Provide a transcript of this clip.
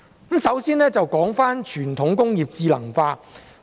我先說傳統工業智能化。